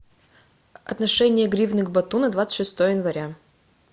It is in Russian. отношение гривны к бату на двадцать шестое января